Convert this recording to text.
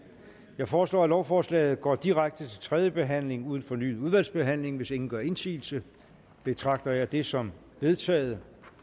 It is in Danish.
jeg foreslår at lovforslaget går direkte til tredje behandling uden fornyet udvalgsbehandling hvis ingen gør indsigelse betragter jeg det som vedtaget